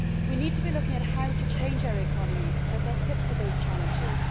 We need to be looking at how to change our economies so that they are fit for those challenges.